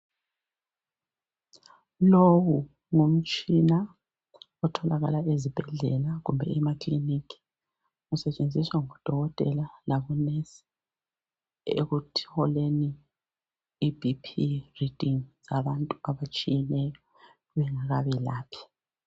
Lo ngumtshina otholakala ezibhedlela kumbe emakilinika usentshenziswa ngodokotela labo onesi ekutholeni ibp redingi yabantu abatshiyeneyo bengakabelaphi